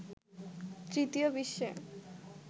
তৃতীয় বিশ্বে